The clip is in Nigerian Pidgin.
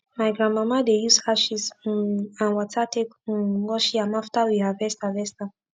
my grandmama dey use ashes um and wata take um wash yam after we harvest harvest am